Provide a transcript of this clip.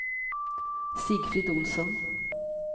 Sigfrid Olsson